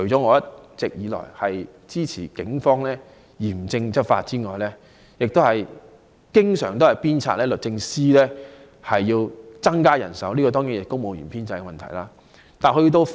我一直支持警方嚴正執法，亦經常鞭策律政司增加人手，這當然涉及公務員的編制問題。